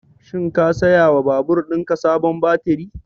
Shin ka saya wa babur ɗin ka sabon baturi?